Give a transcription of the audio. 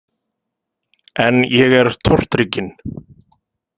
En ég er tortrygginn.